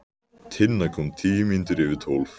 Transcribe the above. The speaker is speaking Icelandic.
Tinna kom tíu mínútur yfir tólf.